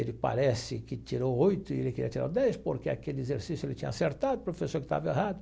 Ele parece que tirou oito e ele queria tirar dez porque aquele exercício ele tinha acertado, o professor que estava errado.